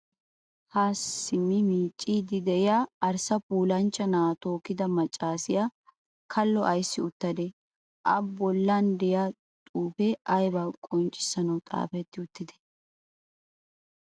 Haa simmi miicciiddi diya arssa puulanchcha na'aa tookkida maccaasiya kallo ayissi uttadee? A bollan diya xuufee ayibaa qonccissanawu xaafetti uttidee?